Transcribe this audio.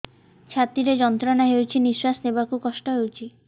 ଛାତି ରେ ଯନ୍ତ୍ରଣା ହଉଛି ନିଶ୍ୱାସ ନେବାରେ କଷ୍ଟ ହଉଛି